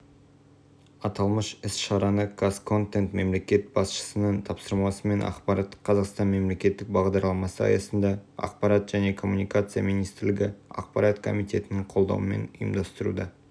аталмыш іс-шараны қазконтент мемлекет басшысының тапсырмасымен ақпараттық қазақстан мемлекеттік бағдарламасы аясында ақпарат және коммуникация министрлігі ақпарат комитетінің қолдауымен ұйымдастыруда